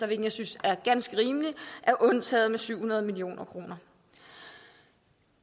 jeg synes er ganske rimeligt er undtaget med syv hundrede million kroner